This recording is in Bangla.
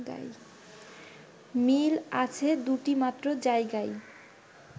মিল আছে দুটি মাত্র জায়গায়